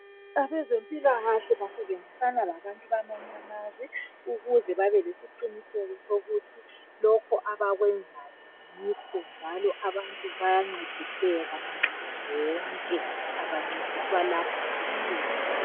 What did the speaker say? Abezempikahle basebenzisana labantu bakwamanye amazwe ukuze babe lesiqiniseko sokuthi lokho abakwenzayo yikho njalo abantu bayancediseka nxa zonke abancediswa lapha kuphela.